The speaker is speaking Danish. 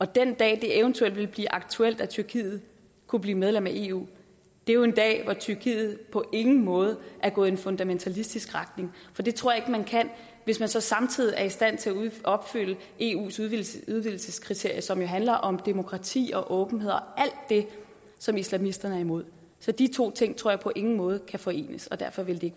den dag det eventuelt vil blive aktuelt at tyrkiet kunne blive medlem af eu er en dag hvor tyrkiet på ingen måde er gået i en fundamentalistisk retning for det tror jeg ikke man kan hvis man så samtidig er i stand til at opfylde eus udvidelseskriterier som jo handler om demokrati åbenhed og alt det som islamisterne er imod så de to ting tror jeg på ingen måde kan forenes og derfor vil